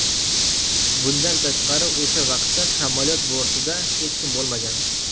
Bundan tashqari o‘sha vaqtda samolyot bortida hech kim bo‘lmagan.